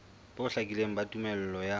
bo hlakileng ba tumello ya